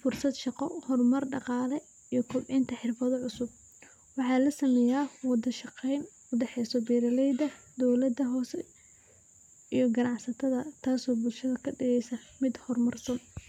fursad shaqo, hor mar daqaale iyo kordinta xirfado cusub, waxaa la sameeya wada shaqeen udaxeeyso beeraleyda, dowlada hoose iyo ganacsatada taas oo bulshada kadigeysa.